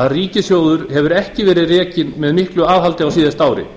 að ríkissjóður hefur ekki verið rekinn með miklu aðhaldi á síðasta ári